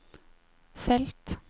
felt